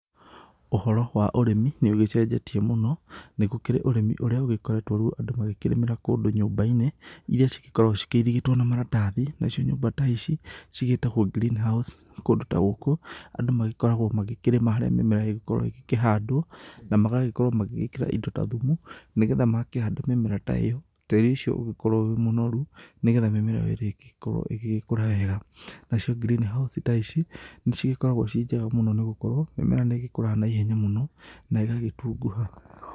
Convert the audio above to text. Ũhoro wa ũrĩmi, nĩ ũgĩcenjetie mũno, nĩ gũkĩrĩ ũrĩmi ũrĩa ugĩkoretwo rĩu andũ magĩkĩrĩmĩra kũndũ nyũmba-inĩ iria cigĩkoragwo cikĩirigĩtwo na maratathi na cio nyũmba ta ici cigĩĩtagwo Green house. Kũndũ ta gũkũ, andũ magĩkoragwo magĩkĩrĩma harĩa mĩmera ĩngĩkorwo ĩkĩhandwo, na magagĩkorwo magĩgĩĩkĩra indo ta thumu, nĩgetha makĩhanda mĩmera ta ĩyo tĩrĩ ũcio ũgĩkorwo wĩ mũnoru, nĩgetha mĩmera ĩyo ĩrĩa ĩngĩkorwo ĩgĩgĩkũra wega. Nacio green house ta ici, nĩ cigĩkoragwo ci njega mũno nĩ gũkorwo, mĩmera nĩ ĩgĩkũraga na ihenya mũno na ĩgagĩtunguha.